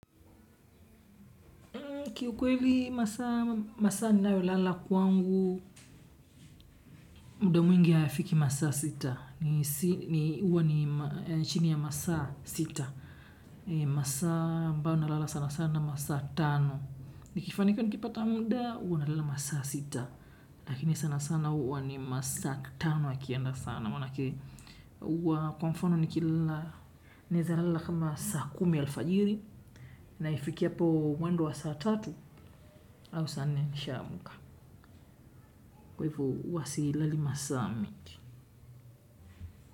Kiukweli masaa ninayo lala kwangu, muda mwingi hayafiki masaa sita. Ni uwa ni chini ya masaa sita. Masaa mbayo nalala sana sana masaa tano. Nikifanikiwa nikipata muda, huwa nalala masaa sita. Lakini sana sana huwa ni masaa tano yakienda sana manake. Huwa kwa mfano nikilala naeza lala kama saa kumi alfajiri. Na ifike hapo mwendo wa saa tatu au saa nne nisha amuka kwa hivo huwa silali masaa mingi.